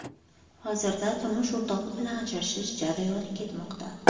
Hozirda turmush o‘rtog‘i bilan ajrashish jarayoni ketmoqda.